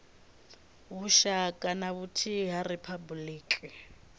lushaka na vhuthihi ha riphabuliki